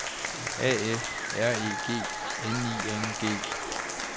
A F R E G N I N G